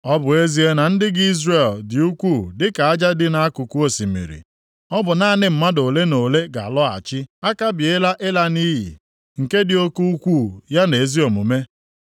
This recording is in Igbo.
Ọ bụ ezie na ndị gị Izrel dị ukwuu dịka aja dị nʼakụkụ osimiri, ọ bụ naanị mmadụ ole na ole ga-alọghachi. A kabiela ịla nʼiyi, nke dị oke ukwuu ya na ezi omume.